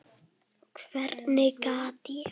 Hvernig gat ég.